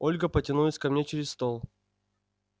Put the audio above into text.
ольга потянулась ко мне через стол